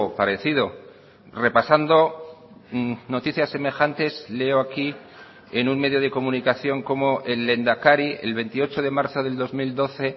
parecido repasando noticias semejantes leo aquí en un medio de comunicación cómo el lehendakari el veintiocho de marzo del dos mil doce